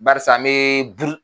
Barisa an bɛ buru